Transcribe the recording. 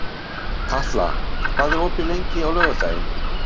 Katla, hvað er opið lengi á laugardaginn?